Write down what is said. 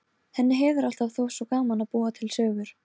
Henni hefur alltaf þótt svo gaman að búa til sögur.